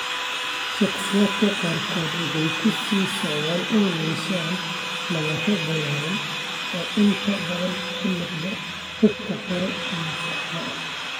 Shakhsiyaadka qaarkood waxay ku sii socdaan inay yeeshaan nabarro ballaaran, oo inta badan ku lug leh xuubka hore ee saxda ah.